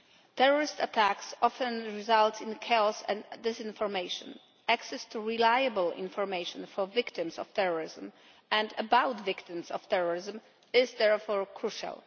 Terrorist attacks often result in chaos and disinformation, and access to reliable information for victims of terrorism and about victims of terrorism is therefore crucial.